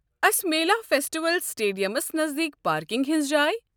اسہِ مِیلیا فیسٹیول سٹیڈیمَس نزدیٖک پارکنگ ہِنٛز جاۓ؟